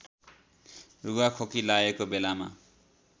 रुघाखोकी लागेको बेलामा